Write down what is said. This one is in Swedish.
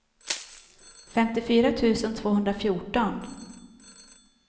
femtiofyra tusen tvåhundrafjorton